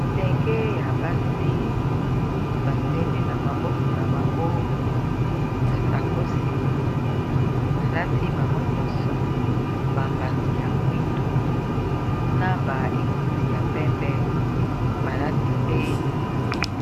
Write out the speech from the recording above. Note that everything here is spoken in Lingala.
bilenge ya basi basimbi na maboko na bango basakosi balati bango nyonso bambati ya mwindu na ba ekoti ya pembe balati pe